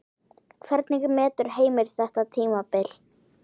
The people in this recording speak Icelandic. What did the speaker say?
Hvernig metur Heimir þetta tímabil?